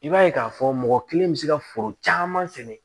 I b'a ye k'a fɔ mɔgɔ kelen bɛ se ka foro caman sɛnɛ